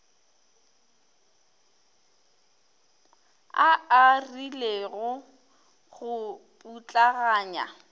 a a rilego go putlaganya